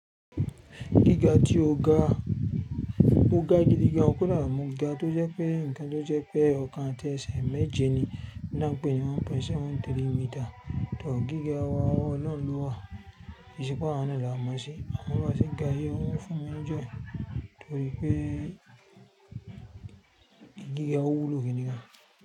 Gíga tí ó ga, mó ga gidi gan o, kódà mo ga tó jẹ́ pé ǹkan tó jẹ́ pé ọ̀kan àti ẹsẹ̀ méje ni n ti á npẹ́ ní 1.73 meters. Gíga wa ọwọ́ olohun lọ́wa, kii se pe awa náà là mọ̀ se, amo bi a se ga yi, ó ń fún mi ní jọy, torí pé gíga ó wú lo gidi gan.